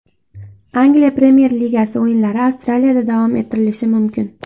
Angliya Premyer Ligasi o‘yinlari Avstraliyada davom ettirilishi mumkin.